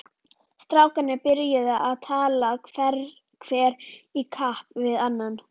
Strákarnir byrjuðu að tala hver í kapp við annan.